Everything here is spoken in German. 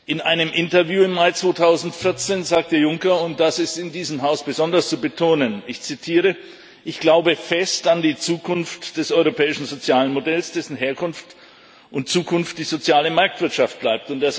In einem Interview im Mai 2014 sagte Juncker und das ist in diesem Haus besonders zu betonen Ich glaube fest an die Zukunft des europäischen Sozialmodells, dessen Herkunft und Zukunft die soziale Marktwirtschaft bleibt.